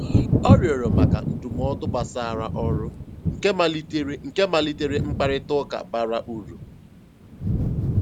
Ọ rịọ̀rọ̀ maka ndụ́mọ̀dụ́ gbàsàrà ọ́rụ́, nkè malìterè nkè malìterè mkpáịrịtà ụ́ka bàrà úrù.